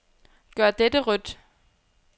Gør dette rødt.